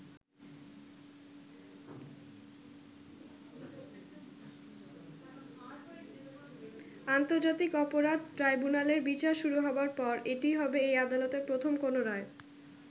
আন্তর্জাতিক অপরাধ ট্রাইব্যুনালের বিচার শুরু হবার পর এটিই হবে এই আদালতের প্রথম কোনও রায়।